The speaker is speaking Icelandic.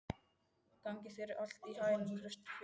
Gangi þér allt í haginn, Kristfinnur.